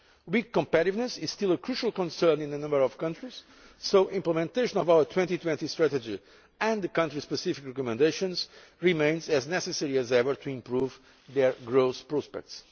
Weak competitiveness is still a crucial concern in a number of countries, so implementation of our 2020 Strategy and the country specific recommendations remains as necessary as ever to improve their growth prospects.